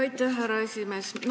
Aitäh, härra esimees!